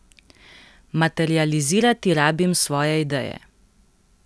Materializirati rabim svoje ideje.